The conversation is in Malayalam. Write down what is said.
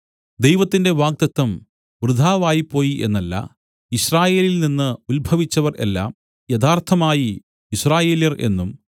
ദൈവത്തിന്റെ വാഗ്ദത്തം വൃഥാവായിപ്പോയി എന്നല്ല യിസ്രായേലിൽനിന്ന് ഉത്ഭവിച്ചവർ എല്ലാം യഥാർത്ഥമായി യിസ്രായേല്യർ എന്നും